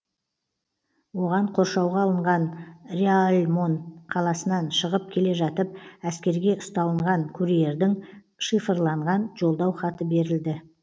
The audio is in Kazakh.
оған қоршауға алынған реальмон қаласынан шығып келе жатып әскерге ұсталынған курьердің шифрланған жолдау хаты берілді